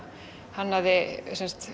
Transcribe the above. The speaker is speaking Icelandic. hannaði